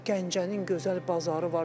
Gəncənin gözəl bazarı var.